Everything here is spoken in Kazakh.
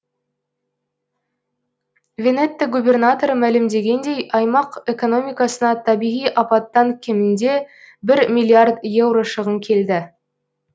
венетто губернаторы мәлімдегендей аймақ экономикасына табиғи апаттан кемінде бір миллиард еуро шығын келді